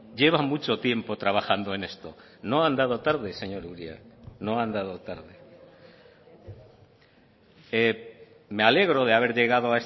lleva mucho tiempo trabajando en esto no ha andado tarde señor uria no ha andado tarde me alegro de haber llegado